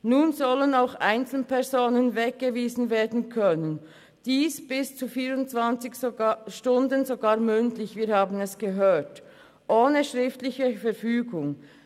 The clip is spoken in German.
Nun sollen auch Einzelpersonen weggewiesen werden können, und dies für bis zu 24 Stunden sogar mündlich, wir haben es gehört, ohne schriftliche Verfügung.